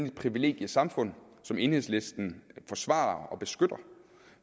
et privilegiesamfund som enhedslisten forsvarer og beskytter